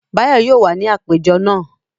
Báyọ̀ yóò wà ní àpéjọ náà.